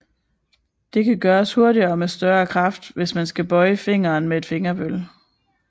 Det kan gøres hurtigere og med større kraft end hvis man skal bøje fingeren med et fingerbøl